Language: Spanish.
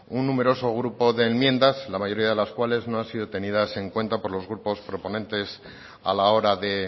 un numeroso grupo de enmiendas la mayoría de las cuales no han sido tenidas en cuenta por los grupos proponentes a la hora de